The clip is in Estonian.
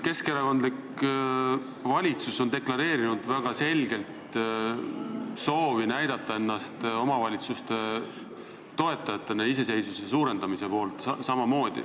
Keskerakondlik valitsus on deklareerinud väga selgelt soovi näidata ennast omavalitsuste toetajatena, samuti näidata, et ollakse omavalitsuste iseseisvuse suurendamise poolt.